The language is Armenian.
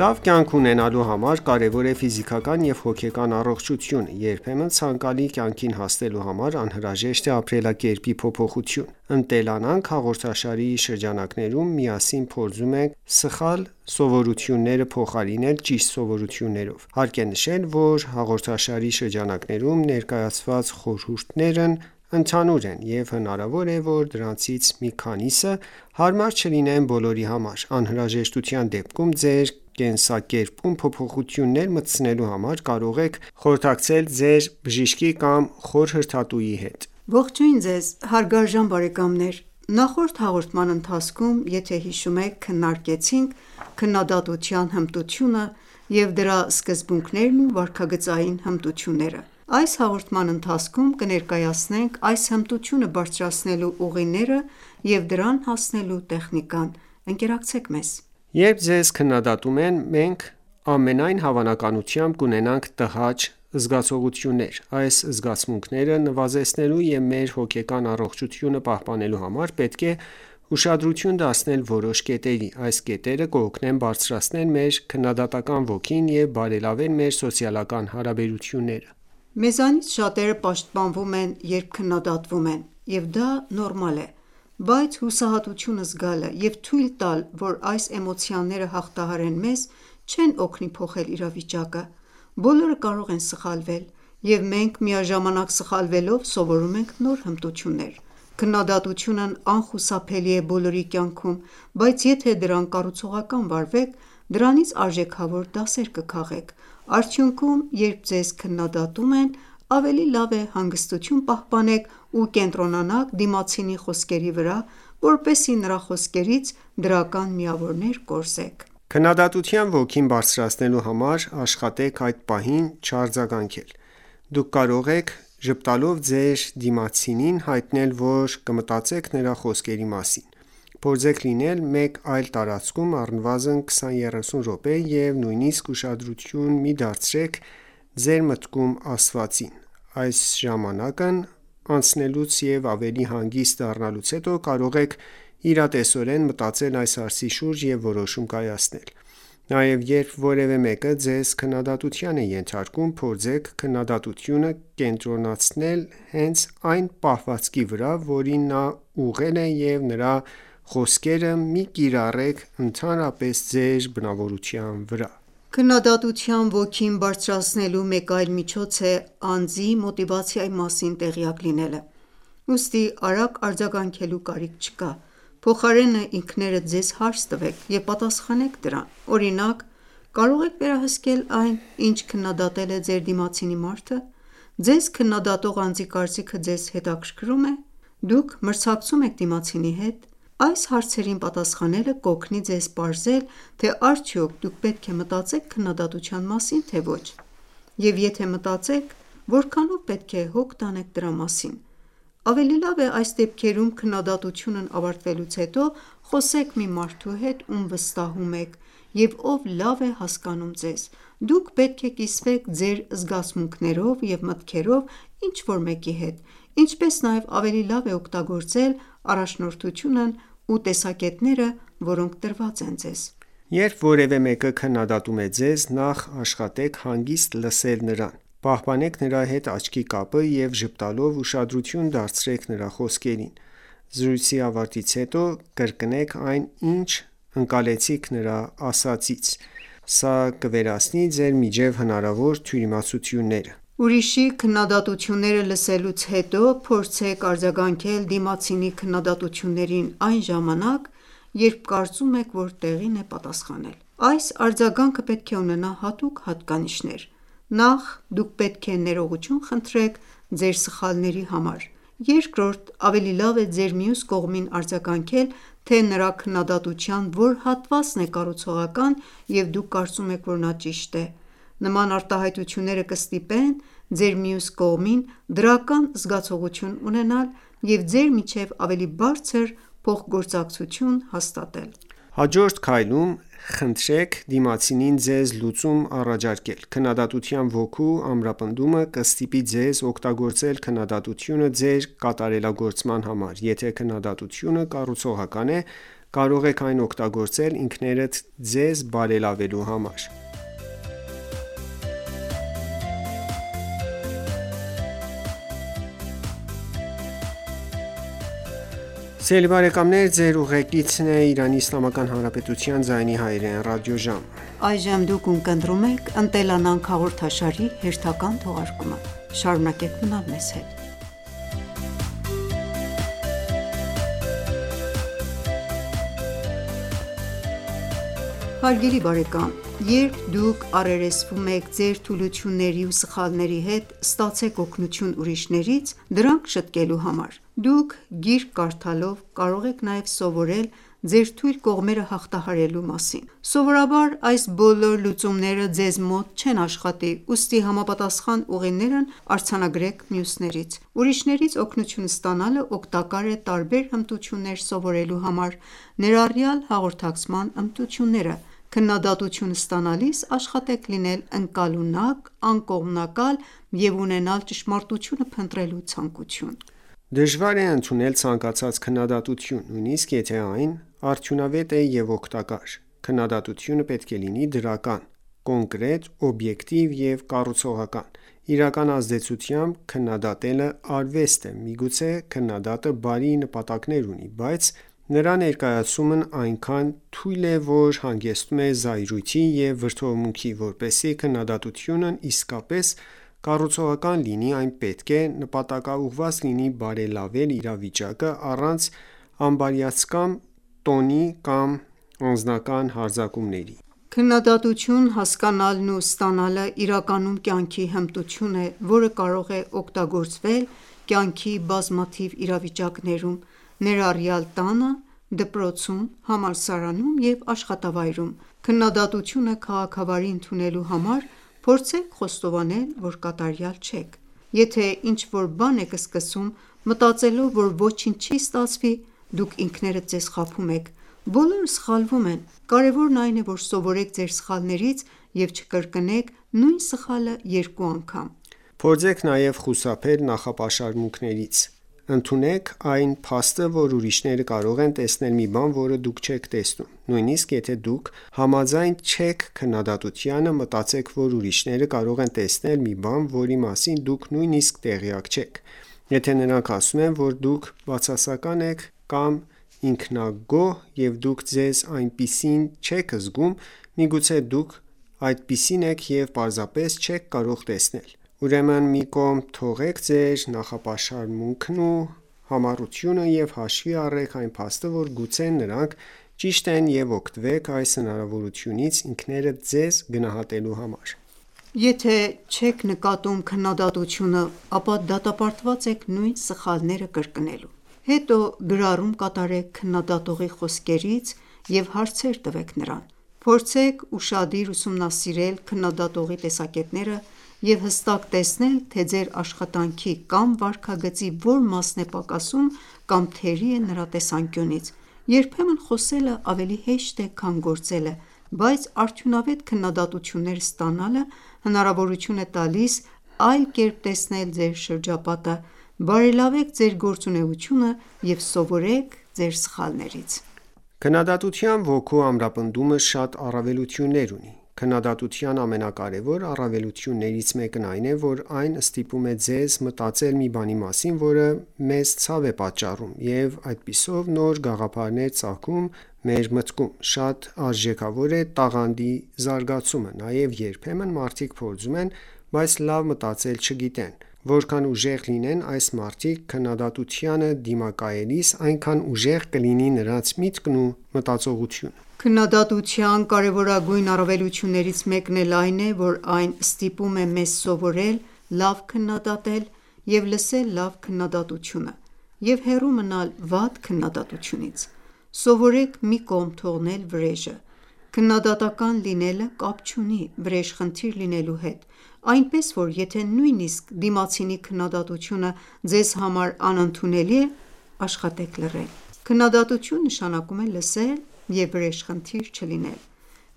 Լավ կյանք ունենալու համար կարևոր է ֆիզիկական և հոգեկան առողջությունը։ Երբեմն ցանկալի կյանքին հասնելու համար անհրաժեշտ է ապրելակերպի փոփոխություն։ «Ընտելանանք» հաղորդաշարի շրջանակներում միասին փորձում ենք սխալ սովորությունները փոխարինել ճիշտ սովորություններով։ Հարկ է նշել, որ հաղորդաշարի շրջանակներում ներկայացված խորհուրդներն ընդհանուր են, և հնարավոր է, որ դրանցից մի քանիսը հարմար չլինեն բոլորի համար: Անհրաժեշտության դեպքում ձեր կենսակերպում փոփոխություններ մտցնելու համար կարող եք խորհրդակցել ձեր բժշկի կամ խորհրդատուի հետ: Ողջույն ձեզ հարգարժան բարեկամներ: Նախորդ հաղորդման ընթացքում քննարկեցինք քննադատության հմտությունը և դրա սկզբունքներն ու վարքագծային հմտությունները, այս հաղորդման ընթացքում կներկայացնենք այս հմտությունը բարձրացնելու ուղիները և դրան հասնելու տեխնիկան: Երբ մեզ քննադատում են, մենք, ամենայն հավանականությամբ, կունենանք տհաճ զգացողություններ։ Այս զգացմունքները նվազեցնելու և մեր հոգեկան առողջությունը պահպանելու համար պետք է ուշադրություն դարձնել որոշ կետերի: Այս կետերը կօգնեն բարձրացնել մեր քննադատական ոգին և բարելավել մեր սոցիալական հարաբերությունները։ Մեզանից շատերը պաշտպանվում են, երբ քննադատվում են, և դա նորմալ է: Բայց հուսահատություն զգալը և թույլ տալ, որ այս էմոցիաները հաղթահարեն մեզ, չեն օգնի փոխել իրավիճակը: Բոլորը կարող են սխալվել, և մենք միաժամանակ սխալվելով սովորում ենք նոր հմտություններ: Քննադատությունն անխուսափելի է բոլորի կյանքում, բայց եթե դրան կառուցողական վարվեք, դրանից արժեքավոր դասեր կքաղեք։ Արդյունքում, երբ ձեզ քննադատում են, ավելի լավ է հանգստություն պահպանեք ու կենտրոնանաք դիմացինի խոսքերի վրա, որպեսզի նրա խոսքերից դրական միավորներ կորզեք։ Քննադատության ոգին բարձրացնելու համար աշխատեք այդ պահին չարձագանքել։ Դուք կարող եք ժպտալով ձեր դիմացինին հայտնել, որ կմտածեք նրա խոսքերի մասին։ Փորձեք լինել մեկ այլ տարածքում առնվազն 20-30 րոպե և նույնիսկ ուշադրություն մի դարձրեք ձեր մտքում ասվածին։ Այս ժամանակն անցնելուց և ավելի հանգիստ դառնալուց հետո կարող եք իրատեսորեն մտածել այս հարցի շուրջ և որոշում կայացնել։ Նաև, երբ որևէ մեկը ձեզ քննադատության է ենթարկում, փորձեք քննադատությունը կենտրոնացնել հենց այն պահվածքի վրա, որին նա ուղղել է և նրա խոսքերը մի՛ կիրառեք ընդհանրապես ձեր բնավորության վրա: Քննադատության ոգին բարձրացնելու մեկ այլ միջոց է անձի մոտիվացիայի մասին տեղյակ լինելը: Ուստի արագ արձագանքելու կարիք չկա։ Փոխարենը, ինքներդ ձեզ հարց տվեք և պատասխանեք դրան։ Օրինակ՝ կարո՞ղ եք վերահսկել այն, ինչ քննադատել է ձեր դիմացի մարդը։ Ձեզ քննադատող անձի կարծիքը ձեզ հետաքրքրու՞մ է։ Դուք մրցակցո՞ւմ եք դիմացինի հետ: Այս հարցերին պատասխանելը կօգնի ձեզ պարզել, թե արդյոք դուք պետք է մտածեք քննադատության մասին, թե ոչ, և եթե մտածեք, որքանով պետք է հոգ տանեք դրա մասին: Ավելի լավ է այս դեպքերում քննադատությունն ավարտվելուց հետո խոսեք մի մարդու հետ, ում վստահում եք և ով լավ է հասկանում ձեզ։ Դուք պետք է կիսվեք ձեր զգացմունքներով և մտքերով ինչ-որ մեկի հետ, ինչպես նաև ավելի լավ է օգտագործել առաջնորդությունն ուտեսակետները, որոնք տրված են ձեզ: Երբ որևէ մեկը քննադատում է ձեզ, նախ աշխատեք հանգիստ լսել նրան։ Պահպանեք նրա հետ աչքի կապը և ժպտալով ուշադրություն դարձրեք նրա խոսքերին։ Զրույցի ավարտից հետո կրկնեք այն, ինչ ընկալեցիք նրա ասածից։ Սա կվերացնի ձեր միջեւ հնարավոր թյուրիմացությունները։ Ուրիշի քննադատությունները լսելուց հետո փորձեք արձագանքել դիմացինի քննադատություններին այն ժամանակ, երբ կարծում եք, որ տեղին է պատասխանել: Այս արձագանքը պետք է ունենա հատուկ հատկանիշներ: Նախ, դուք պետք է ներողություն խնդրեք ձեր սխալների համար: Երկրորդ, ավելի լավ է ձեր մյուս կողմին արձագանքել, թե նրա քննադատության որ հատվածն է կառուցողական, և դուք կարծում եք, որ նա ճիշտ է: Նման արտահայտությունները կստիպեն ձեր մյուս կողմին դրական զգացողություն ունենալ և ձեր միջև ավելի բարձր փոխգործակցություն հաստատել: Հաջորդ քայլում խնդրեք դիմացինին ձեզ լուծում առաջարկել: Քննադատության ոգու ամրապնդումը կստիպի ձեզ օգտագործել քննադատությունը ձեր կատարելագործման համար: Եթե քննադատությունը կառուցողական է, կարող եք այն օգտագործել ինքներդ ձեզ բարելավելու համար։ Հետո, երբ դուք առերեսվում եք ձեր թուլությունների ու սխալների հետ, ստացեք օգնություն ուրիշներից՝ դրանք շտկելու համար: Դուք գիրք կարդալով կարող եք նաև սովորել ձեր թույլ կողմերը հաղթահարելու մասին: Սովորաբար այս բոլոր լուծումները ձեզ մոտ չեն աշխատի, ուստի համապատասխան ուղիներն առանձնացրեք մյուսներից։ Ուրիշներից օգնություն ստանալը օգտակար է տարբեր հմտություններ սովորելու համար, ներառյալ հաղորդակցման հմտությունները: Քննադատություն ստանալիս աշխատեք լինել ընկալունակ, անկողմնակալ և ունենալ ճշմարտությունը փնտրելու ցանկություն: Դժվար է ընդունել ցանկացած քննադատություն, նույնիսկ եթե այն արդյունավետ է և օգտակար։ Քննադատությունը պետք է լինի դրական, կոնկրետ, օբյեկտիվ և կառուցողական։ Իրական ազդեցությամբ քննադատելը արվեստ է, միգուցե քննադատը բարի նպատակներ ունի, բայց նրա ներկայացումն այնքան թույլ է, որ հանգեցնում է զայրույթի և վրդովմունքի, որպեսզի քննադատությունն իսկապես կառուցողական լինի, այն պետք է նպատակաուղղված լինի բարելավել իրավիճակը՝ առանց անբարյացակամ տոնի կամ անձնական հարձակումների: Քննադատություն հասկանալն ու ստանալը իրականում կյանքի հմտություն է, որը կարող է օգտագործվել կյանքի բազմաթիվ իրավիճակներում, ներառյալ տանը, դպրոցում, համալսարանում և աշխատավայրում: Քննադատությունը քաղաքավարի ընդունելու համար փորձեք խոստովանել, որ կատարյալ չեք։ Եթե ինչ-որ բան եք սկսում, մտածելով, որ ոչինչ չի ստացվի, դուք ինքներդ ձեզ խաբում եք։ Բոլորը սխալվում են։ Կարևորն այն է, որ սովորեք ձեր սխալներից և չկրկնեք նույն սխալը երկու անգամ։ Փորձեք նաև խուսափել նախապաշարմունքներից։ Ընդունեք այն փաստը, որ ուրիշները կարող են տեսնել մի բան, որը դուք չեք տեսնում: Նույնիսկ եթե դուք համաձայն չեք քննադատությանը, մտածեք, որ ուրիշները կարող են տեսնել մի բան, որի մասին դուք նույնիսկ տեղյակ չեք: Եթե նրանք ասում են, որ դուք բացասական ես կամ ինքնագոհ, և դուք ձեզ այնպիսին չեք զգում, միգուցե դուք այդպիսին եք և պարզապես չեք կարող տեսնել դա: Ուրեմն մի կողմ թողեք ձեր նախապաշարմունքն ու համառությունը և հաշվի առեք այն փաստը, որ գուցե նրանք ճիշտ են և օգտվեք այս հնարավորությունից՝ ինքներդ ձեզ գնահատելու համար։ Եթե չեք նկատում քննադատությունը, ապա դատապարտված եք նույն սխալները կրկնելու։ Հետո գրառում կատարեք քննադատողի խոսքերից և հարցեր տվեք նրան։ Փորձեք ուշադիր ուսումնասիրել քննադատողի տեսակետները և հստակ տեսնեք, թե ձեր աշխատանքի կամ վարքագծի որ մասն է պակասում կամ թերի է նրա տեսանկյունից: Երբեմն խոսելն ավելի հեշտ է, քան գործելը բայց արդյունավետ քննադատություններ ստանալը հնարավորություն է տալիս այլ կերպ տեսնել ձեր շրջապատը, բարելավեք ձեր գործունեությունը և սովորեք ձեր սխալներից: Քննադատության ոգու ամրապնդումը շատ առավելություններ ունի: Քննադատության ամենակարևոր առավելություններից մեկն այն է, որ այն ստիպում է մեզ մտածել մի բանի մասին, որը մեզ ցավ է պատճառում, և այդպիսով նոր գաղափարներ ծագում մեր մտքում: Շատ արժեքավոր է տաղանդի զարգացումը։ Նաև երբեմն մարդիկ փորձում են, բայց լավ մտածել չգիտեն, որքան ուժեղ լինեն այս մարդիկ քննադատությանը դիմակայելիս, այնքան ուժեղ կլինի նրանց միտքն ու մտածողությունը: Քննադատության կարևորագույն առավելություններից մեկն էլ այն է, որ այն ստիպում է մեզ սովորել լավ քննադատել և լսել լավ քննադատությունը և հեռու մնալ վատ քննադատությունից: Սովորեք մի կողմ թողնել վրեժը: Քննադատական լինելը կապ չունի վրեժխնդիր լինելու հետ, այնպես որ, եթե նույնիսկ դիմացինի քննադատությունը ձեզ համար անընդունելի է, աշխատեք լռել։ Քննադատություն նշանակում է լսել և վրեժխնդիր չլինել: